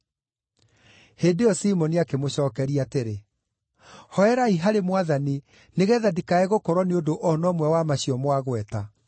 Hĩndĩ ĩyo Simoni akĩmũcookeria atĩrĩ, “Hooerai harĩ Mwathani nĩgeetha ndikae gũkorwo nĩ ũndũ o na ũmwe wa macio mwagweta.”